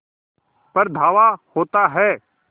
पर धावा होता है